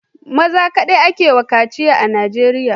Maza kadai ake wa kaci a arewacin nigeria